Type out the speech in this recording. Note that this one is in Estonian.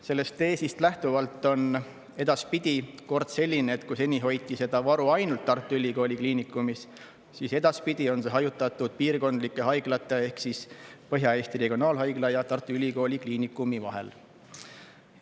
Sellest teesist lähtuvalt on edaspidi kord selline, et kui seni hoiti seda varu ainult Tartu Ülikooli Kliinikumis, siis edaspidi on see hajutatud piirkondlike haiglate ehk Põhja-Eesti Regionaalhaigla ja Tartu Ülikooli Kliinikumi vahel.